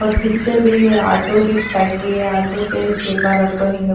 اور پکچر بھی آٹو کی فیکٹری ہے۔ آٹو کے شاپ مے رکھو ہے۔